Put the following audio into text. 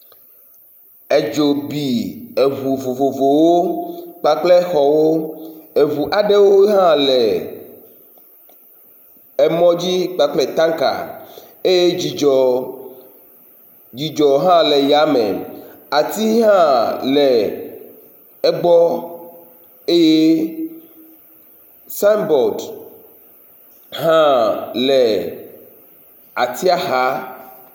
Edzo bi eŋu vovovowo kpakple exɔwo, eŋu aɖewo hã le emɔ dzi kpakple tanka eye dzidzɔ hã le eya me ati hã le egbɔ eye signboard hã le atia xa